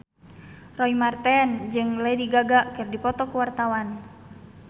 Roy Marten jeung Lady Gaga keur dipoto ku wartawan